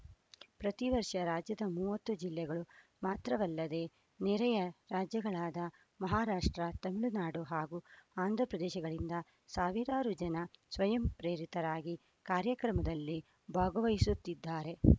ಪ್ರತಿ ವರ್ಷ ರಾಜ್ಯದ ಮೂವತ್ತು ಜಿಲ್ಲೆಗಳು ಮಾತ್ರವಲ್ಲದೆ ನೆರೆಯ ರಾಜ್ಯಗಳಾದ ಮಹಾರಾಷ್ಟ್ರ ತಮಿಳುನಾಡು ಹಾಗೂ ಆಂಧ್ರ ಪ್ರದೇಶಗಳಿಂದ ಸಾವಿರಾರು ಜನ ಸ್ವಯಂ ಪ್ರೇರಿತರಾಗಿ ಕಾರ್ಯಕ್ರಮದಲ್ಲಿ ಭಾಗವಹಿಸುತ್ತಿದ್ದಾರೆ